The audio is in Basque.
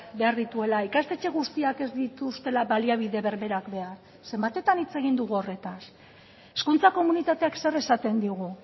behar dituela ikastetxe guztiak ez dituztela baliabide berberak behar zenbatetan hitz egin dugu horretaz hezkuntza komunitateak zer esaten digu